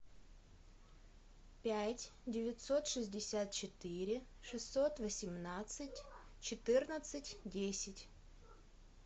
пять девятьсот шестьдесят четыре шестьсот восемнадцать четырнадцать десять